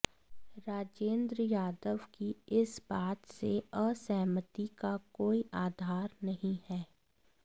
राजेंद्र यादव की इस बात से असहमति का कोई आधार नहीं है